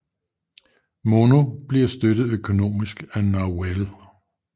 Mono bliver støttet økonomisk af Novell